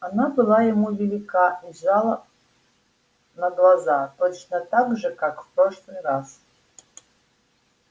она была ему велика и съезжала на глаза точно так же как в прошлый раз